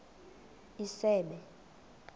isebe